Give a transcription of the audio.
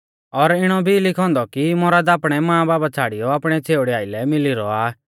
और इणौ भी लिखौ औन्दौ कि मौरद आपणै मांबाबा छ़ाड़ियौ आपणी छ़ेउड़ी आइलै मिली रौआ आ